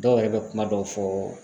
Dɔw yɛrɛ bɛ kuma dɔw fɔ